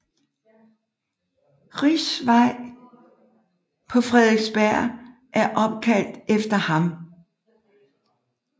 Richs Vej på Frederiksberg er opkaldt efter ham